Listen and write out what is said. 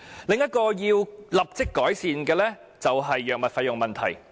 另一個需要立即改善的問題是藥物費用問題。